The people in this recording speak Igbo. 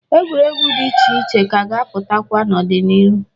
Egwuregwu dị iche iche ka ga-apụtakwa n'ọdịniru.